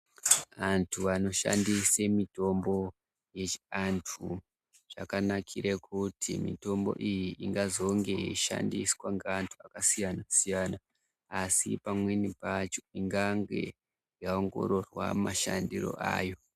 Antu anoshandise mitombo yechi antu, zvakanakire kuti mitombo iyi ingazonge yeishandiswa ngeantu akasiyana-siyana, asi pamweni pacho ingange yaongororwa mashandiro ayo.